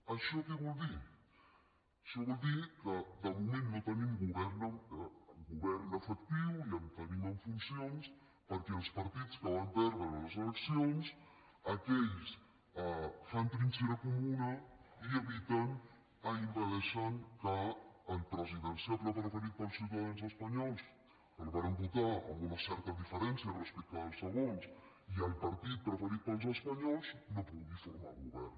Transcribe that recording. això que vol dir això vol dir que de moment no tenim govern efectiu el tenim en funcions perquè els partits que van perdre els eleccions aquells fan trinxera comuna i eviten i impedeixen que el presidenciable preferit pels ciutadans espanyols que el varen votar amb una certa diferència respecte dels segons i el partit preferit pels espanyols no pugui formar govern